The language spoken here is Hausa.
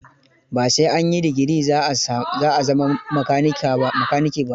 Ba sai an yi degree za a zama makanike ba.